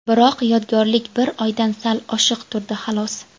Biroq yodgorlik bir oydan sal oshiq turdi, xolos.